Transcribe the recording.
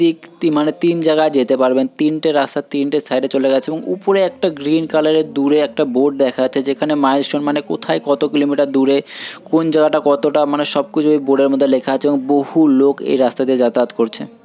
ইক মানে তিন জাগা যেতে পারবেন তিনটে রাস্তা তিনটে সাইডে চলে গেছে এবং উপরে একটা গ্রিন কালার - এর দুরে একটা বোর্ড দেখা যাচ্ছে যেখানে মাইলস্টোন মানে কোথায় কত কিলোমিটার দুরে কোন জায়গাটা কতটা মানে সব কিছু এ বোর্ড এর মধ্যে লেখা আছে এবং বহু লোক এই রাস্তা দিয়ে যাতায়াত করছে।